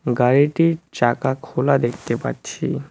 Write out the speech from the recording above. গাড়িটির চাকা খোলা দেখতে পাচ্ছি।